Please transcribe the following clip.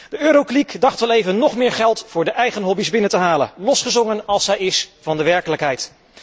De Eurokliek dacht wel even nog meer geld voor de eigen hobby's binnen te halen, losgezongen als zij is van de werkelijkheid.